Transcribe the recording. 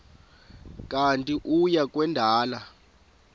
kanti uia kwendela